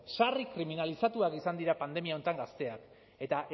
sarri kriminalizatuak izan dira pandemia honetan gazteak eta